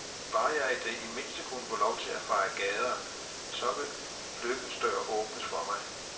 Bare jeg i det mindste kunne få lov til at feje gader, så vil lykkens dør åbnes for mig.